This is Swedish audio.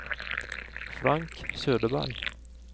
Frank Söderberg